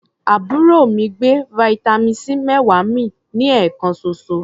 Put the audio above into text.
Àbúrò mi gbé vitamin C méwàá mì ní ẹ̀ẹ̀kan ṣoṣo.